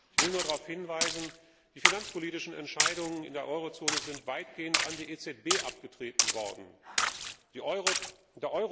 Ich will nur darauf hinweisen, dass die finanzpolitischen Entscheidungen in der Eurozone weitgehend an die EZB abgetreten worden sind.